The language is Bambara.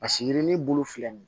A sigiyirinin bulu filɛ nin ye